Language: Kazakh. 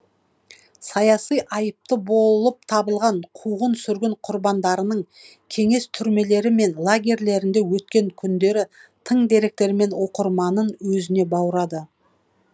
саяси айыпты болып табылған қуғын сүргін құрбандарының кеңес түрмелері мен лагерьлерінде өткен күндері тың деректермен оқырманын өзіне баурады